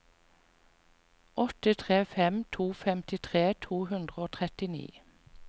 åtte tre fem to femtitre to hundre og trettini